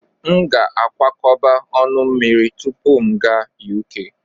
M ga-akwakọba ọnụ mmiri tupu m aga Uk.